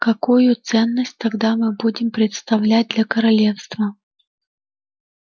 какую ценность тогда мы будем представлять для королевства